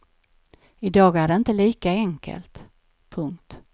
I dag är det inte lika enkelt. punkt